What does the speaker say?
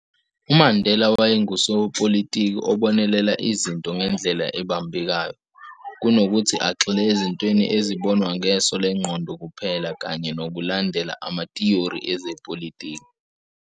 UMandela wayengusopolitiki obonelela izinto ngendlela ebambekayo, kunokuthi agxile ezintweni ezibonwa ngeso lengqondo kuphela kanye nokulandela amatiyori ezepolitiki.